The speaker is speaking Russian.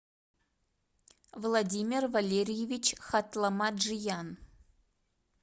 владимир валерьевич хатламаджиян